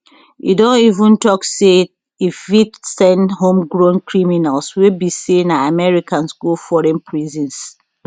e don even tok say e fit send homegrown criminals wey be say na americans go foreign prisons